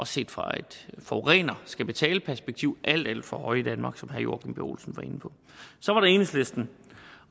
set fra et forureneren skal betale perspektiv alt alt for høje i danmark som herre joachim b olsen var inde på så var der enhedslisten